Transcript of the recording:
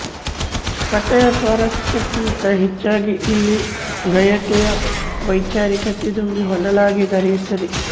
ಕಥೆಯ ಸ್ವಾರಸ್ಯಕ್ಕಿಂತ ಹೆಚ್ಚಾಗಿ ಇಲ್ಲಿ ಗಯಟೆಯ ವೈಚಾರಿಕತೆ ತುಂಬಿ ಹೊನಲಾಗಿ ಹರಿಯುತ್ತದೆ